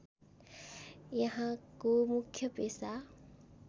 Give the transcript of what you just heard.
यहाँको मुख्य पेसा